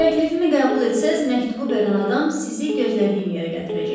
Təklifimi qəbul etsəz, məktubu verən adam sizi gözlədiyim yerə gətirəcək.